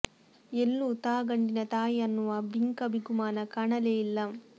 ಎಲ್ಲೂ ತಾ ಗಂಡಿನ ತಾಯಿ ಅನ್ನುವ ಬಿಂಕ ಬಿಗುಮಾನ ಕಾಣಲೇ ಇಲ್ಲ